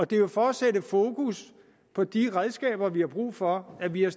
det er jo for at sætte fokus på de redskaber vi har brug for at vi har